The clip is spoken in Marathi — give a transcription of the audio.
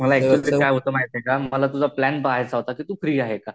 काय होत माहिते का मला तुझा प्लान पाहायचा होता तू फ्री आहे का?